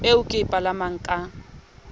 eo ke e palamang ka